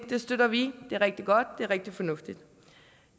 det støtter vi det er rigtig godt det er rigtig fornuftigt